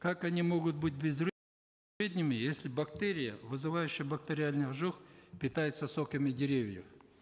как они могут быть если бактерия вызывающая бактериальный ожог питается соками деревьев